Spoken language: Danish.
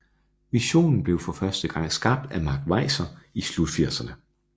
Visionen blev for første gang skabt af Mark Weiser i slutfirserne